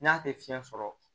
N'a tɛ fiɲɛ sɔrɔ